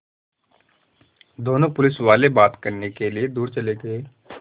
दोनों पुलिसवाले बात करने के लिए दूर चले गए